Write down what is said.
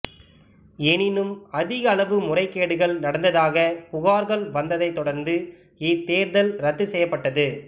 எனினும் அதிக அளவு முறைகேடுகள் நடந்ததாக புகார்கள் வந்ததைத்தொடர்ந்து இத்தேர்தல் இரத்து செய்யப்பட்டது